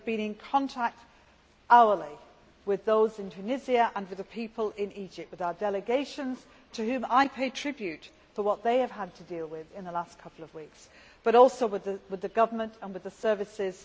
We have been in contact hourly with those in Tunisia and with the people in Egypt, with our delegations, to whom I pay tribute for what they have had to deal with in the last couple of weeks, and also in direct contact with the government and with the services.